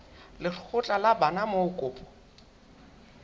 lekgotla la bana moo kopo